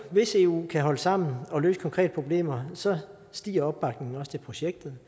hvis eu kan holde sammen og løse konkrete problemer stiger opbakningen til projektet